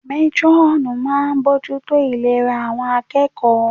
Métúrọ̀nù náà ń bojútó ìlera àwọn akẹ́kọ̀ọ́